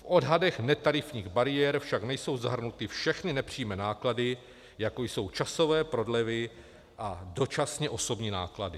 V odhadech netarifních bariér však nejsou zahrnuty všechny nepřímé náklady, jako jsou časové prodlevy a dočasně osobní náklady.